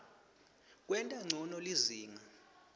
kwenta ncono lizinga